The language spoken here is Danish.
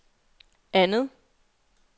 andet